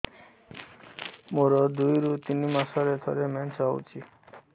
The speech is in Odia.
ମୋର ଦୁଇରୁ ତିନି ମାସରେ ଥରେ ମେନ୍ସ ହଉଚି